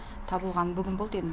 табылғаны бүгін болды енді